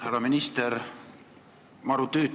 Härra minister!